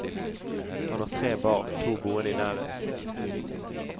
Han har tre barn, to boende i nærheten.